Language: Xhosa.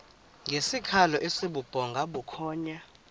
ngesikhalo esibubhonga bukhonya